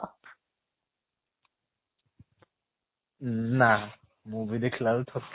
ଉଁ ନା , movie ଦେଖିଲା ବେଳେ ଥକିନି